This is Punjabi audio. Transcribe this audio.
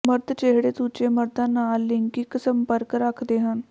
ਮਰਦ ਜਿਹੜੇ ਦੂਜੇ ਮਰਦਾਂ ਨਾਲ ਲਿੰਗਕ ਸੰਪਰਕ ਰੱਖਦੇ ਹਨ